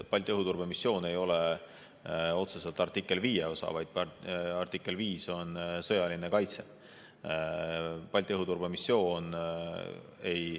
Balti õhuturbemissioon ei ole otseselt artikli 5 osa, vaid artikkel 5 on sõjaline kaitse.